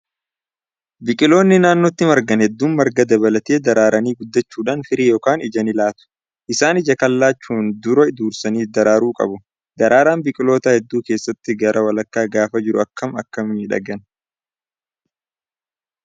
Biqiloonni naannootti margan hedduun marga dabalatee daraaranii guddachuudhaan firii yookaan ija ni laatu. Isaanis ija kana laachuun dura dursanii daraaruu qabu. Daraaraan biqiloota hedduu keessattuu gara walakkaa gaafa jiru akkam akka miidhagan